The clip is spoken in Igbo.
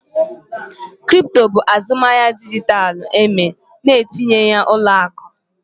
Kripto bụ azụmahịa dijitalụ eme na-etinyeghị ụlọ akụ